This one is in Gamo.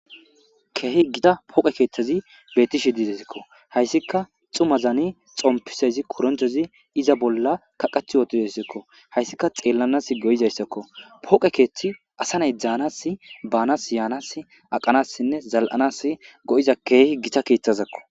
Keehi gita pooqe keeththezi beetishi didesikko hayssika xuma zani xompiseyzi koronchozi iza bolla kaqath yootidassakko hayssika xeellanas go7izayssakko pooqe keeththi asa nay dzaanas baanas yaanas aqanassinne zal7anas go7iza keehi gita kiitthazakko.